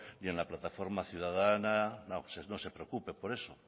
ni en la plataforma ciudadana no se preocupe por eso